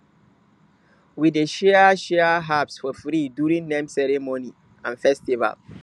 we dey share share herbs for free during name ceremony and festival